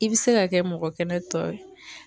I be se ka kɛ mɔgɔ kɛnɛ tɔ ye